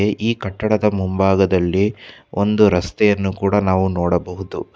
ಈ ಕಟ್ಟಡದ ಮುಂಭಾಗದಲ್ಲಿ ಒಂದು ರಸ್ತೆಯನ್ನು ನಾವು ನೋಡಬಹುದು.